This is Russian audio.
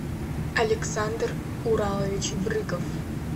александр уралович брыков